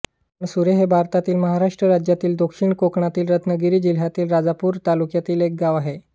अणसुरे हे भारतातील महाराष्ट्र राज्यातील दक्षिण कोकणातील रत्नागिरी जिल्ह्यातील राजापूर तालुक्यातील एक गाव आहे